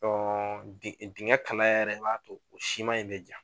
din dingɛ kalaya yɛrɛ b'a to o sima in bɛ ja.